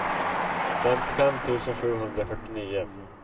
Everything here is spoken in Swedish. femtiofem tusen sjuhundrafyrtionio